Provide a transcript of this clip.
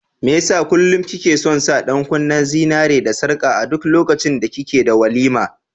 Mai yasa kullum ki ke son sa ɗan kunnen zinariya da sarka a duk lokacin da kike da walima?